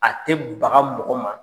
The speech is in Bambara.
A te baga mɔgɔ ma.